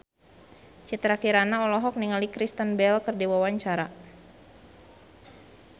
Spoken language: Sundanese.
Citra Kirana olohok ningali Kristen Bell keur diwawancara